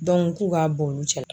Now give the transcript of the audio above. Dɔnku k'u ka bɔ olu cɛla